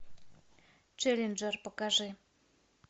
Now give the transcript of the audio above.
челленджер покажи